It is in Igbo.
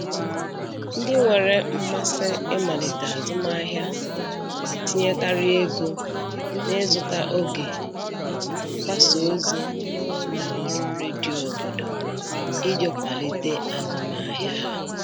Ndị nwere mmasị ịmalite azụmahịa na-etinyekarị ego na-ịzụta oge maka mgbasa ozi n'ụlọ ọrụ redio obodo iji kwalite azụmahịa ha.